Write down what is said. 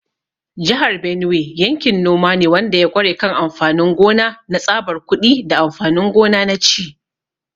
Jihar Benue yankin noma ne wanda ya ƙware kan amfanin gona na tsabar kuɗi da amfanin gona na ci.